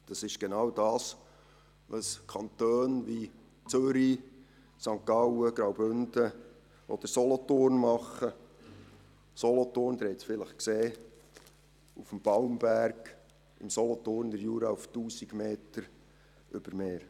Das ist genau das, was Kantone wie Zürich, St. Gallen, Graubünden oder Solothurn machen, Solothurn – Sie haben es vielleicht gesehen – auf dem Balmberg im Solothurner Jura auf 1000 Metern über Meer.